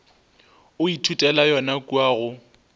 o ithutela yona kua go